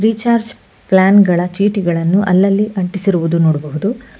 Recharge plan ಗಳ ಚೀಟಿಗಳನ್ನು ಅಲ್ಲಲ್ಲಿ ಅಂಟಿಸಿರುವುದನ್ನು ನೋಡಬಹುದು.